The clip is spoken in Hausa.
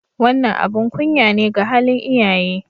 Wannan abin kunya ne ga halin iyaye.